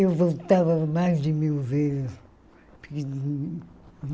Eu voltava mais de mil vezes.